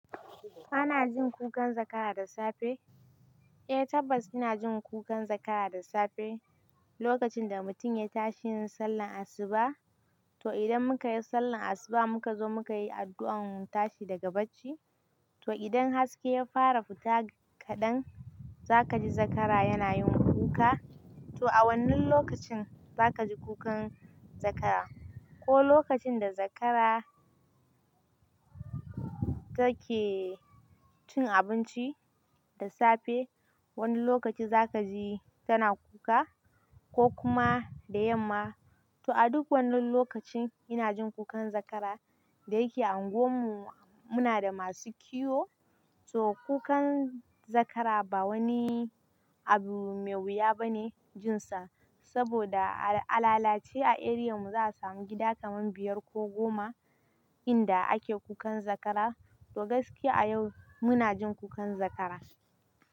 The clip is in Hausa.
Ana jin kukan zakara da safe? Eh tabbas ina jin kukan zakara da safe. Lokacin da mutum ya tashi yin sallar asuba, to idan muka yi sallar asuba muka zo muka yi addu'ar tashi daga bacci, to idan haske ya fara fita kaɗan za ka ji zakara yana yin kuka. To a wannan lokacin za ka ji kukan zakara ko lokacin da zakara take cin abinci da safe, wani lokaci za ka ji tana kuka ko kuma da yamma. To a duk wannan lokacin ina jin kukan zakara da yake unguwar mu muna da masu kiwo, to kukan zakara ba wani abu me wuya bane jin sa. Saboda a lalace a eriyar mu za a samu gida kaman biyar ko goma inda ake kukan zakara. To gaskiya yau muna jin kukan zakara.